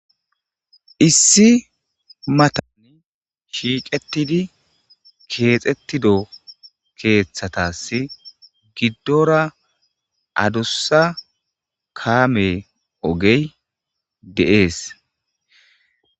issi matani shiiqetidi keexettido keeththatasi giddora adussa kaame ogey de7ees